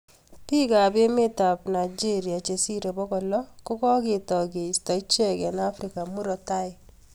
Piik AP emeet ap Nigeria chesiree pokol loo ko kaketai keistaa icheek eng afrika Murat tai